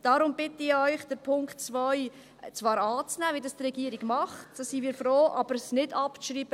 Darum bitte ich euch, Punkt 2 zwar anzunehmen, wie dies die Regierung tut – darüber sind wir froh –, aber es nicht abzuschreiben.